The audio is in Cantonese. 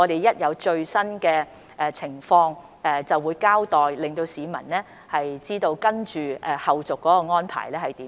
一有最新發展，我便會作出交代，讓市民知道有何後續安排。